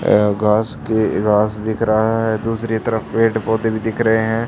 ये घास के घास दिख रहा है दूसरी तरफ पेड़ पौधे भी दिख रहे हैं।